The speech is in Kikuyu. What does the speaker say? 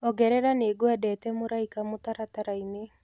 ongerera nĩngwendete mũraĩka mutarataraini